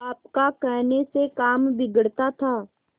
आपका कहने से काम बिगड़ता था